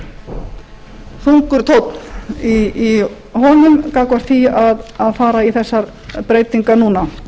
þungur tónn í honum gagnvart því að fara í þessar breytingar núna